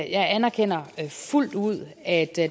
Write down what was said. jeg anerkender fuldt ud at